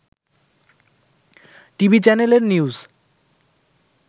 TV চ্যানেলের news